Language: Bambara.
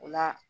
O la